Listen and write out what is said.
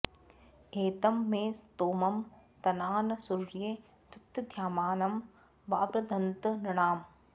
एतं मे स्तोमं तना न सूर्ये द्युतद्यामानं वावृधन्त नृणाम्